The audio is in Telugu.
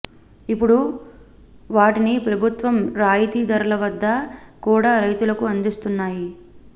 ఇప్పుడు వాటిని ప్రభుత్వం రాయితీ ధరల వద్ద కూడా రైతులకు అందిస్తున్నాయి